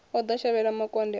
o ḓo shavhela makonde a